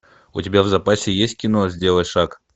у тебя в запасе есть кино сделай шаг